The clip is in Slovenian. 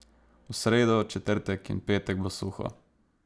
V sredo, četrtek in petek bo suho.